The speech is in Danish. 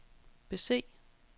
bese